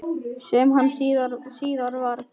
Sem hann síðar varð.